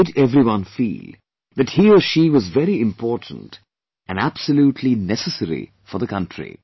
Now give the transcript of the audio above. He made everyone feel that he or she was very important and absolutely necessary for the country